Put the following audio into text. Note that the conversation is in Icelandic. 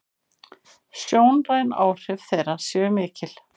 Sjónræn áhrif þeirra séu mikil.